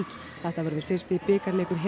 þetta verður fyrsti bikarleikur Helenu